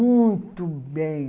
Muito bem.